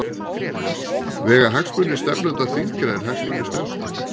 Vega hagsmunir stefnanda þyngra en hagsmunir stefnda?